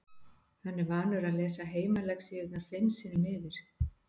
Hann er vanur að lesa heimalexíurnar fimm sinnum yfir.